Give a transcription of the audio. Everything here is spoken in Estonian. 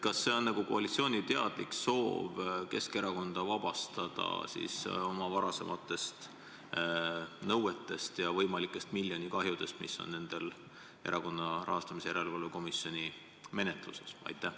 Kas see on koalitsiooni teadlik soov vabastada Keskerakond varasematest nõuetest ja võimalikest nn miljonikahjudest, mis praegu Erakondade Rahastamise Järelevalve Komisjoni menetluses on?